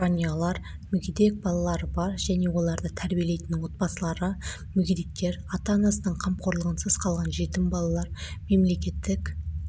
жанұялар мүгедек балалары бар және оларды тәрбиелейтін отбасылары мүгедектер ата-анасының қамқорлығынсыз қалған жетім балалар мемлекеттік